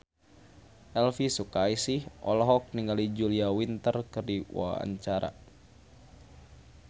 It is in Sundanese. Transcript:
Elvi Sukaesih olohok ningali Julia Winter keur diwawancara